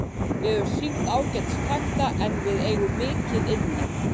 Við höfum sýnt ágætis takta en við eigum mikið inni.